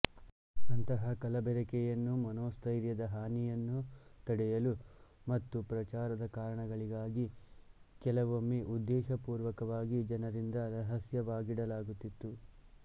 ಅಂತಹ ಕಲಬೆರಕೆಯನ್ನು ಮನೋಸ್ಥೈರ್ಯದ ಹಾನಿಯನ್ನು ತಡೆಯಲು ಮತ್ತು ಪ್ರಚಾರದ ಕಾರಣಗಳಿಗಾಗಿ ಕೆಲವೊಮ್ಮೆ ಉದ್ದೇಶಪೂರ್ವಕವಾಗಿ ಜನರಿಂದ ರಹಸ್ಯವಾಗಿಡಲಾಗುತ್ತಿತ್ತು